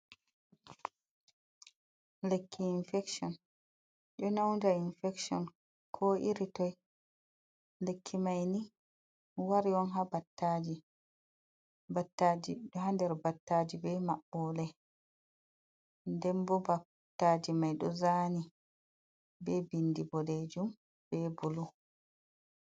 Lekki infekshon, ɗo nyauda infekshon ko iritoi. lekki maini wari on ha battaji, battaji ɗoha nder battaji be maɓɓole nden bo battaji mai ɗo zani be bindi boɗejum be bulu.